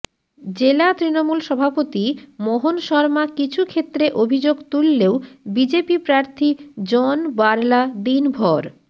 জেলা তৃণমূল সভাপতি মোহন শর্মা কিছু ক্ষেত্রে অভিযোগ তুললেও বিজেপি প্রার্থী জন বার্লা দিনভর